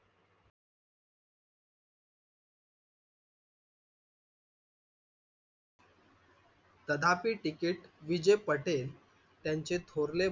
तथापि ticket विजय पटेल त्यांचे थोरले,